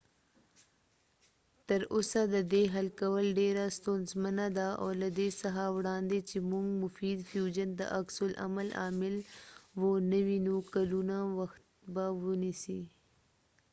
تر اوسه ددې حل کول ډیره ستونزمنه ده او له دې څخه وړاندې چې مونږ مفید فیوژن د عکس العمل عامل و نه وینو کلونو وخت به ونیسي